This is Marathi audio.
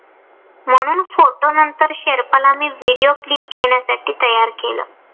म्हणून photo नंतर शेर्पाला मी video clip घेण्यासाठी तयार केलं.